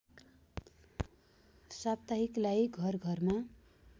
साप्ताहिकलाई घर घरमा